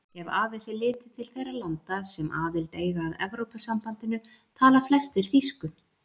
Ef aðeins er litið til þeirra landa sem aðild eiga að Evrópusambandinu tala flestir þýsku.